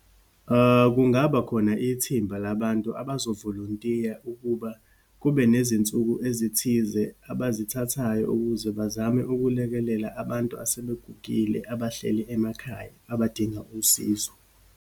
Kungaba khona ithimba labantu abazovolontiya ukuba kube nezinsuku ezithize abazithathayo ukuze bazame ukulekelela abantu asebegugile, abahleli emakhaya, abadinga usizo.